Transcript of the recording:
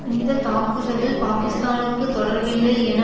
இந்த தாக்குதலில் பாக்கிஸ்தானுக்கு தொடர்பில்லை என